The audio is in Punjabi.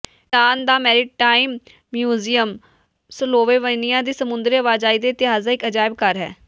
ਪਿਰਾਨ ਦਾ ਮੈਰੀਟਾਈਮ ਮਿਊਜ਼ੀਅਮ ਸਲੋਵੇਨੀਆ ਦੇ ਸਮੁੰਦਰੀ ਆਵਾਜਾਈ ਦੇ ਇਤਿਹਾਸ ਦਾ ਇਕ ਅਜਾਇਬ ਘਰ ਹੈ